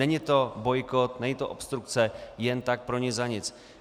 Není to bojkot, není to obstrukce jen tak pro nic za nic.